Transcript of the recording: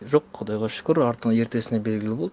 жоқ құдайға шүкір артында ертесінде белгілі болды